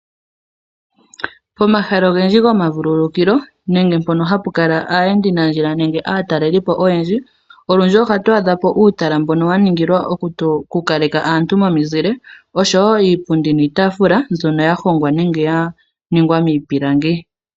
Omahala ogendji gomavululukilo nenge mpono hapu kala aayendinandjila nenge aatalelipo oyendji olundji ohatu adhapo uutala mboka waningilwa okukaleka aantu momuzile osho woo iipundi niitaafula mbyono yahongwa nenge yaningwa miipilangi.